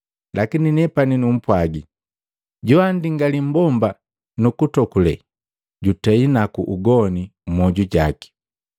Lakini nepani numpwagi, joandingali mmbomba nukuntokule, jutei naku ugoni mmoju jaki.